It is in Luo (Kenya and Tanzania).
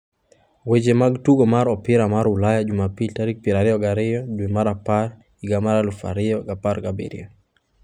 Weche mag Tugo mar Opira mar Ulaya Jumapil tarik 22.10.2017